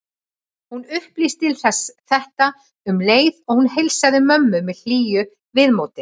Hún upplýsti þetta um leið og hún heilsaði mömmu með hlýju viðmóti.